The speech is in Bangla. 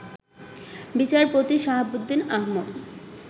বিচারপতি সাহাবুদ্দীন আহমদ